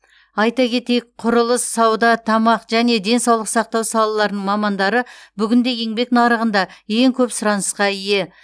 айта кетейік құрылыс сауда тамақ және денсаулық сақтау салаларының мамандары бүгінде еңбек нарығында ең көп сұранысқа ие